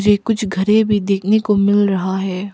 मुझे कुछ घरे भी देखने को मिल रहा है।